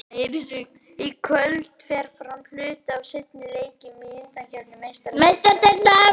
Í kvöld fer fram hluti af seinni leikjunum í undankeppni Meistaradeildar Evrópu.